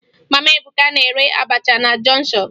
Mama Ebuka na-ere abacha na jọnshọn